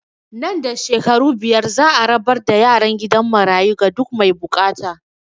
Nan da shekaru biyar za a rabar da yaran gidan marayu ga duk mai bukata